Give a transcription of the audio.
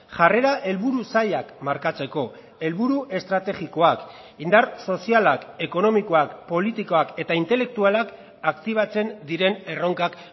jarrera helburu zailak markatzeko helburu estrategikoak indar sozialak ekonomikoak politikoak eta intelektualak aktibatzen diren erronkak